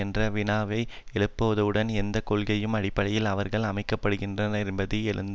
என்ற வினாவை எழுப்புவதுடன் எந்த கொள்கைகளின் அடிப்படையில் அவர்கள் அமைக்கப்படுகின்றனர் என்பதையும் எழுப்பும்